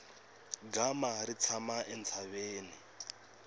gama ri tshama entshaveni